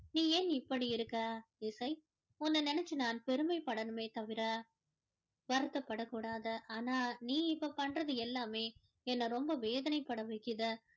நீ ஏன் இப்படி இருக்க இசை உன்னை நினைத்து நான் பெருமைப்படணுமே தவிர வருத்தப்படகூடாது ஆனா நீ இப்போ பண்றது எல்லாமே என்னை ரொம்ப வேதனை பட வைக்குது